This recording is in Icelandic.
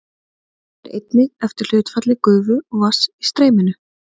Hann fer einnig eftir hlutfalli gufu og vatns í streyminu.